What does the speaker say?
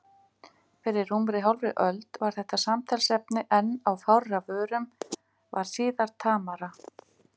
Fyrir rúmri hálfri öld var þetta samtalsefni enn á fárra vörum, varð síðar tamara.